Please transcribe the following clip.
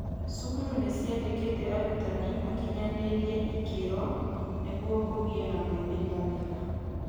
cukuru nĩciandĩkĩte arutani makinyanĩirie ikĩro nĩguo kũgĩe na moimĩrĩra mega